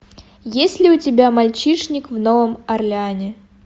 есть ли у тебя мальчишник в новом орлеане